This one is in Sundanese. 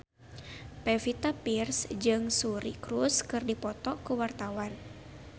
Pevita Pearce jeung Suri Cruise keur dipoto ku wartawan